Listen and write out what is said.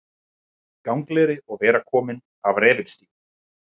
Gangleri og vera kominn af refilstígum.